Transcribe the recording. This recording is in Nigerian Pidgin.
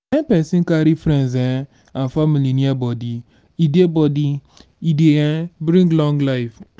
when person carry friends um and family near body e dey body e dey um bring long life